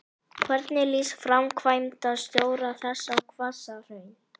Þetta er einstaklega skemmtileg saga, heldur Hallmundur áfram.